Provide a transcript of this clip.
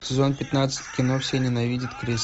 сезон пятнадцать кино все ненавидят криса